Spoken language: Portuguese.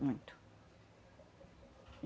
Muito.